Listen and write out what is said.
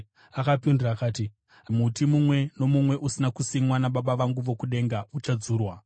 Akapindura akati, “Muti mumwe nomumwe usina kusimwa naBaba vangu vokudenga uchadzurwa.